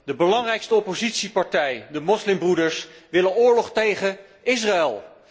De belangrijkste oppositiepartij, de moslimbroeders, wil oorlog tegen Israël.